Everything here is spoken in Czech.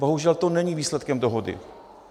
Bohužel to není výsledkem dohody.